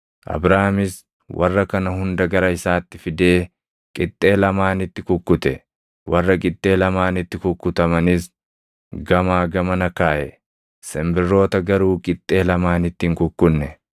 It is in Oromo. Abraamis warra kana hunda gara isaatti fidee, qixxee lamaanitti kukkute; warra qixxee lamaanitti kukkutamanis gamaa gamana kaaʼe; simbirroota garuu qixxee lamaanitti hin kukkunne.